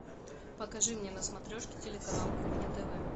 покажи мне на смотрешке телеканал кухня тв